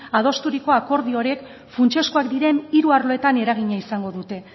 adosturiko akordio horiek funtsezkoak diren hiru arloetan eragina izango dute